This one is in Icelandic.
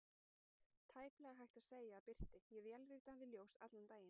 Tæplega hægt að segja að birti: ég vélrita við ljós allan daginn.